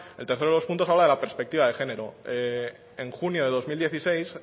el tercero de los puntos habla de la perspectiva de género en junio de dos mil dieciséis